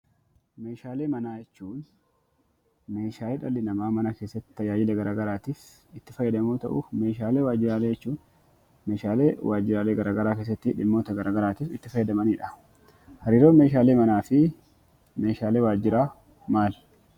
Meeshaalee manaa jechuun Meeshaalee dhalli namaa mana keessatti tajaajilamu, tajaajila garaagaraafis itti fayyadamu yoo ta'u, Meeshaalee manaa jechuun Meeshaalee waajiraalee garaagaraa keessatti dhimmoota garaagaraatiif itti fayyadamanidha. Hariiroon Meeshaalee manaa fi Meeshaalee waajiraa maali?